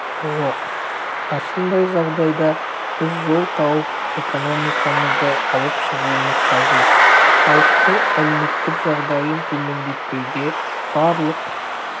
жоқ осындай жағдайда біз жол тауып экономикамызды алып шығуымыз қажет іалықтың әлеуметтік жағдайын төмендетпеуге барлық